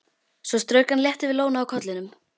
Svo strauk hann létt yfir lóna á kollinum.